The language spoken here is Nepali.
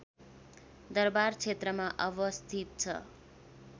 दरवार क्षेत्रमा अवस्थित छ